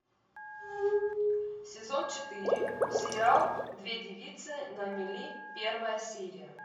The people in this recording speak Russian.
сезон четыре сериал две девицы на мели первая серия